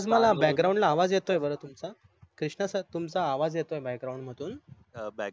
मला BACKGROUND ला आवाज येताय बर तुमचा कृष्णा SIR तुमचं आवाज येतय BACKGROUND मधून या